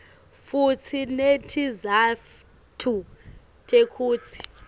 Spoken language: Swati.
futsi netizatfu tekutsi